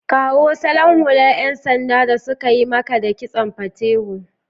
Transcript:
Kawo salon hular 'yan sanda da suka yi kama da Kitson Patewo